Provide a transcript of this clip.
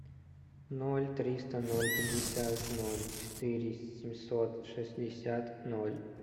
ноль триста ноль пятьдесят ноль четыре семьсот шестьдесят ноль